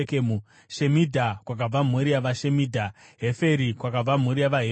Shemidha, kwakabva mhuri yavaShemidha; Heferi, kwakabva mhuri yavaHeferi.